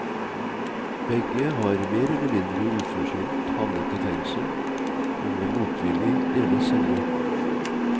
Begge har mer eller mindre uforskyldt havnet i fengsel og må motvillig dele celle.